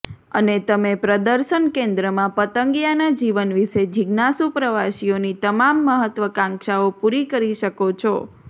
અને તમે પ્રદર્શન કેન્દ્રમાં પતંગિયાના જીવન વિશે જિજ્ઞાસુ પ્રવાસીઓની તમામ મહત્વાકાંક્ષાઓ પૂરી કરી શકો છો